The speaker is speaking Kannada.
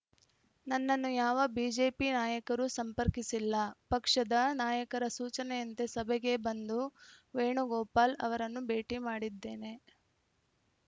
ನನ್ನನ್ನು ಯಾವ ಬಿಜೆಪಿ ನಾಯಕರೂ ಸಂಪರ್ಕಿಸಿಲ್ಲ ಪಕ್ಷದ ನಾಯಕರ ಸೂಚನೆಯಂತೆ ಸಭೆಗೆ ಬಂದು ವೇಣುಗೋಪಾಲ್‌ ಅವರನ್ನು ಭೇಟಿ ಮಾಡಿದ್ದೇನೆ